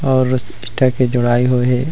और इस टाइप के दवाई होहे।